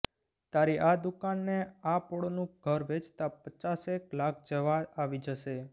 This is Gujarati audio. તારી આ દુકાન ને આ પોળનું ઘર વેંચતા પચાસેક લાખ જેવા આવી જશે